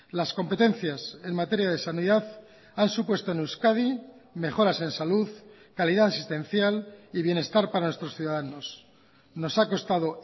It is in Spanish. las competencias en materia de sanidad han supuesto en euskadi mejoras en salud calidad asistencial y bienestar para nuestros ciudadanos nos ha costado